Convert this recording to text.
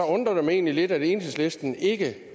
undrer det mig egentlig lidt at enhedslisten ikke